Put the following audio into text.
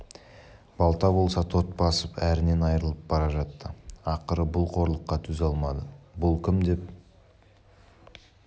балта болса тот басып әрінен айрылып бара жатты ақыры бұл қорлыққа төзе алмады бұл кім деп